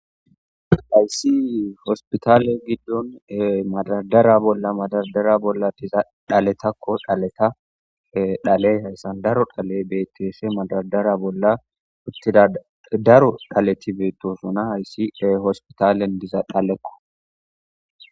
Haysi hospitale diza dhaleko hayso hosputale gidon madardera bolla diza dhaletako dhaleya haysan daro dhaley beetese mafardara bolla uttidaysi